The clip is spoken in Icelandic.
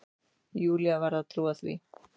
Júlía varð að trúa því.